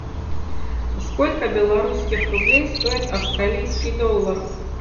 сколько белорусских рублей стоит австралийский доллар